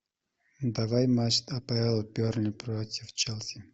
давай матч апл бернли против челси